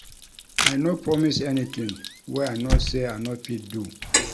I no promise anytin wey I know sey I no fit do.